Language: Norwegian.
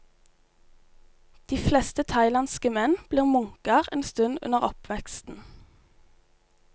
De fleste thailandske menn blir munker en stund under oppveksten.